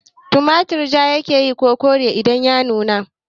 Tumarturi ja yake ko kore idan ya nuna?